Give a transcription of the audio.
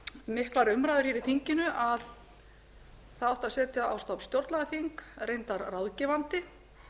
miklar umræður hér í þinginu að það átti að setja á stofn stjórnlagaþing reyndar ráðgefandi